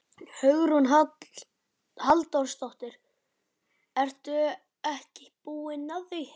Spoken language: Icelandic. Hugrún Halldórsdóttir: Ertu ekki búin að því?